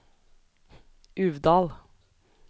Uvdal